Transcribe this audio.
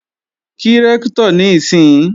Kí Rẹ́ktọ̀ níìsín!